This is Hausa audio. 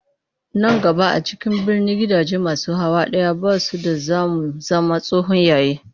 Nan gaba a cikin birni gidaje masu hawa ɗaya ba su da za mu zama tsohon yayi